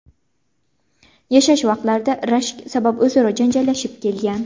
yashash vaqtlarida rashk sabab o‘zaro janjallashib kelgan.